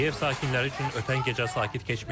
Kiyev sakinləri üçün ötən gecə sakit keçməyib.